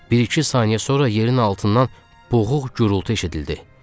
Bir-iki saniyə sonra yerin altından boğuq gurultu eşidildi.